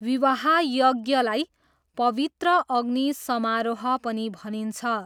विवाह यज्ञलाई 'पवित्र अग्नि समारोह' पनि भनिन्छ।